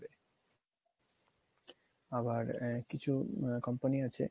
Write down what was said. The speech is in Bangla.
আবার কিছু কোম্পানি আছে